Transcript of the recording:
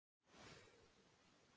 Svo sendi ég mynd af mér.